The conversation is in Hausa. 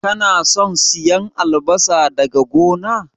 Kana son siyan albasa daga gona?